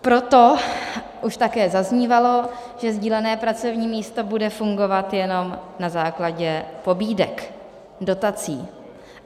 Proto už také zaznívalo, že sdílené pracovní místo bude fungovat jenom na základě pobídek, dotací.